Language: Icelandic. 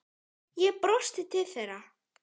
Ég brosti til þeirra.